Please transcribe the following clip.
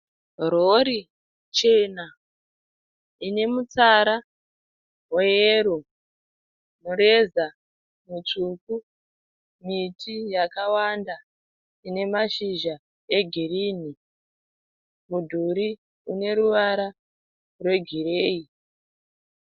Rori chena ine mutsara weyero, mureza mutsvuku miti yakawanda ine mashizha egirini mudhuri une ruvara rwegireyi.